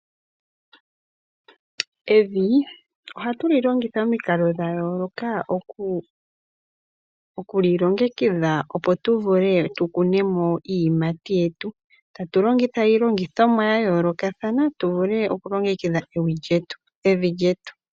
Evi ohatulilongitha omikalo dhayooloka okulilongengidha opo tuvule tukunemo iiyimati yetu, tatu longitha iilongithomwa ya yoolokathana tuvule okulongekidha evi lyetu.